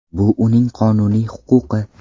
Bu uning qonuniy huquqi.